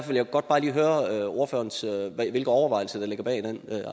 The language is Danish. vil jeg godt bare lige høre hvilke overvejelser der ligger bag den